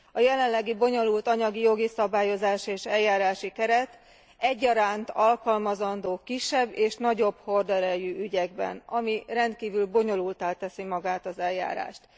A jelenlegi bonyolult anyagi, jogi szabályozás és eljárási keret egyaránt alkalmazandó kisebb és nagyobb horderejű ügyekben, ami rendkívül bonyolulttá teszi magát az eljárást.